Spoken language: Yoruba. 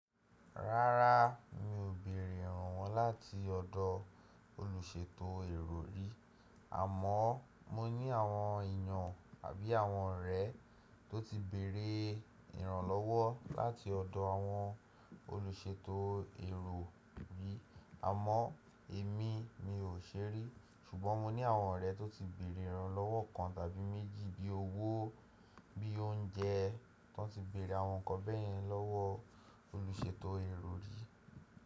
Rárá, mi ò bẹ̀rẹ̀ ìrànwọ́ láti ọ̀dọ̀ olùṣètò èrò rí, àmọ́ mo ní àwọn èyàn àbí àwọn ọ̀rẹ́ tó ti bẹ̀rẹ̀ ìrànlọ́wọ́ láti ọ̀dọ̀ àwọn olùṣètò èrò rí. Àmọ́ èmi, mi ò ṣe rí, ṣùgbọ́n mo ní àwọn ọ̀rẹ́ tó ti bẹ̀rẹ̀ ìrànlọ́wọ́ kan tàbí méjì bí i owó, bí i oúnjẹ, tan ti bẹ̀rẹ̀ àwọn ǹkan bẹ́ẹ̀rẹ̀ lọ́wọ́. Olùṣètò èrò rí.